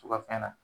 Tu ka fɛn na